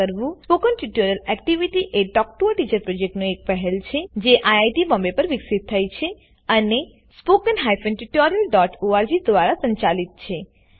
spoken tutorial activity એ talk to a teacher પ્રોજેક્ટની એક પહેલ છે જે આઇઆઇટી બોમ્બે પર વિકસિત થઇ છે અને httpspoken tutorialorg દ્વારા સંચાલિત છે